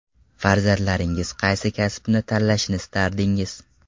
Farzandlaringiz qaysi kasbni tanlashini istardingiz?